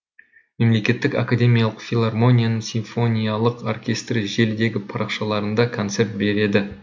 мемлекеттік академиялық филармонияның симфониялық оркестрі желідегі парақшаларында концерт береді